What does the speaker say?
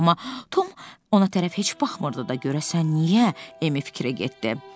Amma Tom ona tərəf heç baxmırdı da görəsən niyə Emil fikrə getdi.